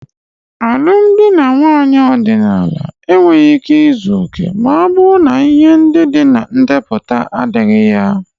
alụmdi na nwunye ọdịnala enweghị ike izu oke ma ọ bụrụ na ihe ndị dị na ndepụta adighi ya.